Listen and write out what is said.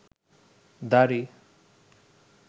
দাড়ি